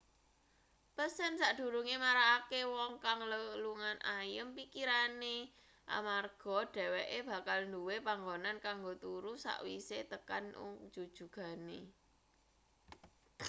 pesen sakdurunge marakake wong kang lelungan ayem pikirane amarga dheweke bakal duwe panggonan kanggo turu sakwise tekan ung jujugane